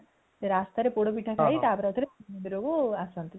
ରାସ୍ତା ରେ ପୋଡ ପିଠା ଖାଇ ତା ପରେ ଆଉ ଥରେ ମନ୍ଦିର କୁ ଆସନ୍ତି